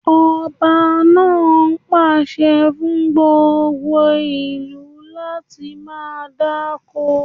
Ọba náà pàṣẹ fún gbogbo ìlú láti máa dáko